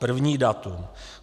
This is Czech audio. První datum.